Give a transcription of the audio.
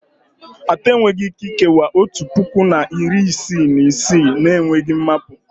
Atọ enweghị Ike ikewaa otu puku na iri isii na isii na-enweghị mmapu